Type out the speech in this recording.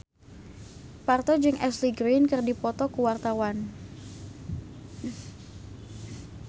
Parto jeung Ashley Greene keur dipoto ku wartawan